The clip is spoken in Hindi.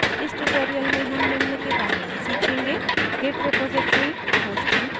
इस tutorial में हम निम्न के बारे में सीखेंगे: * git repository hosting services